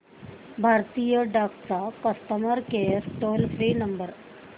भारतीय डाक चा customer care toll free number